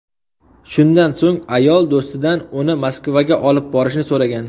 Shundan so‘ng, ayol do‘stidan uni Moskvaga olib borishni so‘ragan.